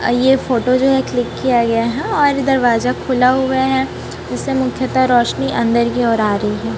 ये फोटो जो है क्लिक किया गया है और दरवाजा खुला हुआ है उसे मुख्यता रोशनी अंदर की ओर आ रही है।